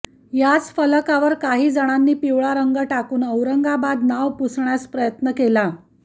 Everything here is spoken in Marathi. याच फलकावर काही जणांनी पिवळा रंग टाकून औरंगाबाद नाव पुसण्याचा प्रयत्न केला